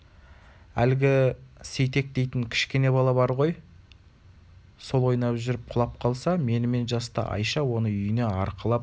әлгі сейтек дейтін кішкене бала бар ғой сол ойнап жүріп құлап қалса менімен жасты айша оны үйіне арқалап